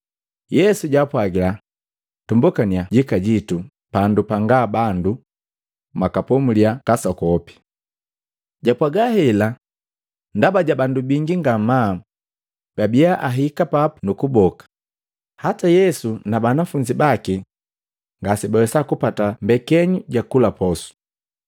Yesu jaapwagila, “Tumbokannya jikajitu pandu panga bandu mwakapomulia kasokope.” Japwaga hela, ndaba ja bandu bingi ngamaa babia ahika papu nu kuboka, hataa Yesu na banafunzi baki ngasibawesa kupata mbekenyu jakula posu.